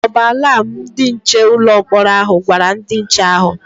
O bu alam ndị nche ụlọ mkpọrọ hà gwara ndị nche ahụ?